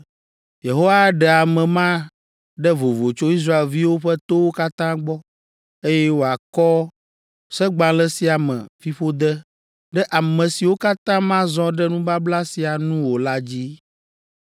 Yehowa aɖe ame ma ɖe vovo tso Israelviwo ƒe towo katã gbɔ, eye wòakɔ Segbalẽ sia me fiƒode ɖe ame siwo katã mazɔ ɖe nubabla sia nu o la dzi.